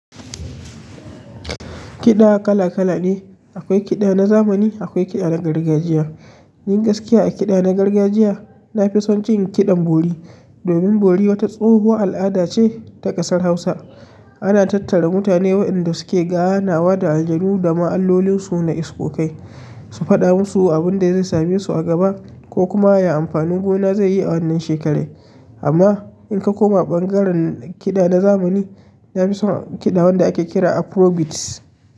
Kiɗa kala kala ne. Akwai kiɗa na zamani, akwai kiɗa na gargajiya. Yin gaskiya a kiɗa na gargajiya, na fi son cikin kiɗan bori. Domin bori wata tsohuwa al'ada ce ta ƙasar Hausa. Ana tattara mutane waɗanda suke ganawa da ajanu da ma'allolin su na isokokai, su faɗa musu abin da zai same su a gaba ko kuma ya amfani gona zai yi a wannan shekarar. Amma in ka koma ɓangaren kiɗa na zamani, na fi son kiɗa wanda ake kira afro beats.